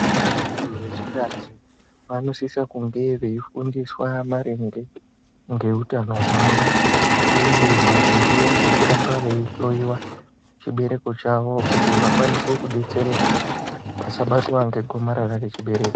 Vantu ve chikadzi vanosisa kunge vei fundiswa maringe nge hutano hwawo uye maringe nge kuramba vei hloyiwa chibereko chawo kuti vakwanise kudetsereka vasa batwa nge gomarara re chibereko.